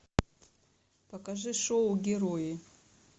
покажи шоу герои